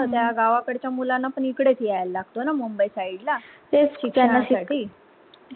गावा कडच्या मुलांना पण इकडेच सायला लागत ना मुंबई side ला तेच ना शेवटी